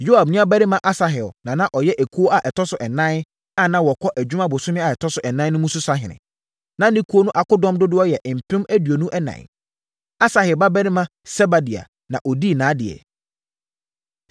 Yoab nuabarima Asahel na na ɔyɛ ekuo a ɛtɔ so ɛnan, a na wɔkɔ adwuma bosome a ɛtɔ so ɛnan mu no so sahene. Na ne ekuo no akodɔm dodoɔ yɛ mpem aduonu ɛnan (24,000). Asahel babarima Sebadia na ɔdii nʼadeɛ.